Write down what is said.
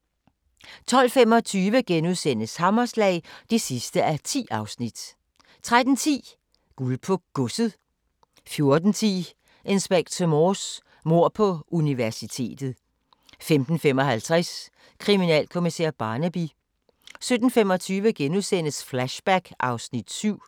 12:25: Hammerslag (10:10)* 13:10: Guld på Godset 14:10: Inspector Morse: Mord på universitetet 15:55: Kriminalkommissær Barnaby 17:25: Flashback (Afs. 7)*